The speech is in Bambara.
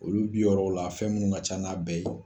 Olu bi yɔrɔw la fɛn minnu ka ca n'a bɛɛ ye.